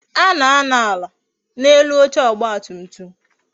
A na-anọ ala n'elu oche ọgba tum tum